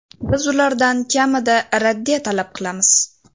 Biz ulardan kamida raddiya talab qilamiz.